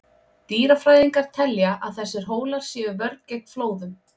Dýrafræðingar telja að þessir hólar sé vörn gegn flóðum.